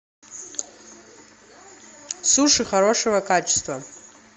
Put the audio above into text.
суши хорошего качества